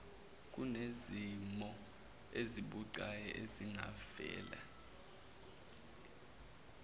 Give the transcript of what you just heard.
kunezimo ezibucayi ezingavela